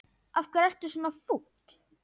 Af hverju ertu svona fúll?